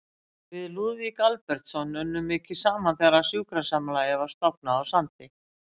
Við Lúðvík Albertsson unnum mikið saman þegar sjúkrasamlagið var stofnað á Sandi.